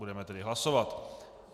Budeme tedy hlasovat.